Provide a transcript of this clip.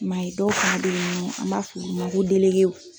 I m'a ye dɔw ta bee an b'a f'ɔlu ma ko w